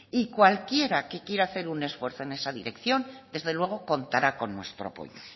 y cualquiera que quiera hacer un esfuerzo en esa dirección desde luego contará con nuestro apoyo